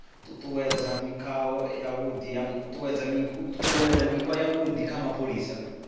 ṱuṱuwedza mikhwa yavhuḓi ya mapholisa